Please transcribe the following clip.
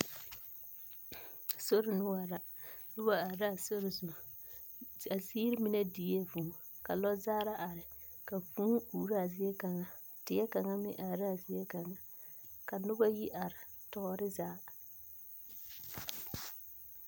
Sori noͻre la. Noba are la a sori zu. A ziiri mine diee vũũ. Ka lͻzagera are ka vũũ uuro a ziekaŋa. Die kaŋa meŋ are laa ziekaŋa ka noba yi are tͻͻre zaa.